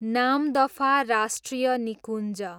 नामदफा राष्ट्रिय निकुञ्ज